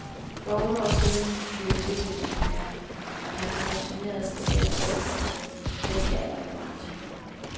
For otte år siden ville benene ikke mere, og han pensionerede sig selv efter en menneskealder i branchen.